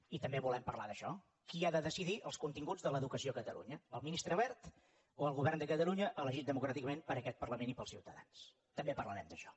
i també volem parlar d’això qui ha de decidir els continguts de l’educació a catalunya el ministre wert o el govern de catalunya elegit democràticament per aquest parlament i pels ciutadans també parlarem d’això